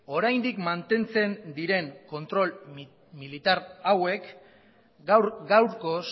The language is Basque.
oraindik mantentzen diren kontrol militar hauek gaur gaurkoz